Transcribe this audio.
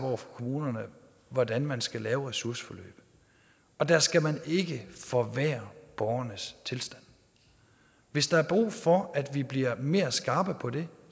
over for kommunerne hvordan man skal lave ressourceforløb og der skal man ikke forværre borgernes tilstand hvis der er brug for at vi bliver mere skarpe på det